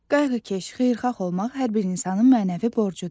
Qayğıkeş, xeyirxah olmaq hər bir insanın mənəvi borcudur.